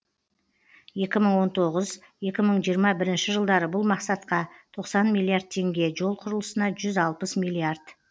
екі мың он тоғыз екі мың жиырма бірінші жылдары бұл мақсатқа тоқсан миллиард теңге жол құрылысына жүз алпыс миллиард